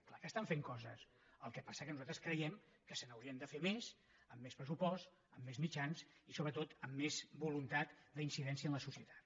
clar que estan fent coses el que passa que nosaltres creiem que se n’haurien de fer més amb més pressupost amb més mitjans i sobretot amb més voluntat d’incidència en la societat